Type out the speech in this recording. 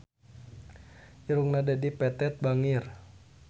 Irungna Dedi Petet bangir